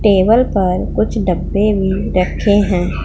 Table पर कुछ डब्बे भी रखे हैं।